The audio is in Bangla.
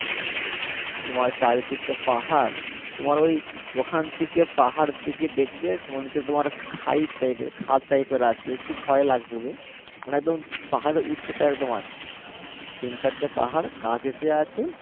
তোমার চারিদিকে পাহাড় তোমার ওই ওখান থেকে পাহাড় দিকে দেখবে মনে হচ্ছে তোমার খায়ী type এর খাদ type এর আছে একটু ভয় লাগবে মানে একদম পাহাড়ের উচ্চতা একদম আছে তিন চারটে পাহাড় গা ঘেঁষে আছে